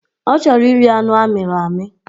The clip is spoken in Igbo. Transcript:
Ọ chọrọ iri anụ amịrị amị